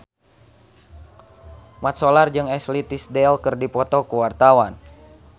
Mat Solar jeung Ashley Tisdale keur dipoto ku wartawan